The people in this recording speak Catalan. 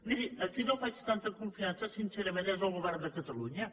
miri a qui no faig tanta confiança sincerament és al govern de catalunya